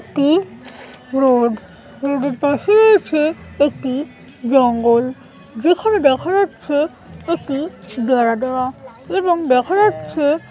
একটি road road এর পাশেই আছে একটি জঙ্গল যেখানে দেখা যাচ্ছে একটি বেড়া দেওয়া এবং দেখা যাচ্ছে--